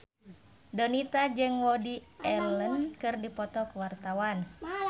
Donita jeung Woody Allen keur dipoto ku wartawan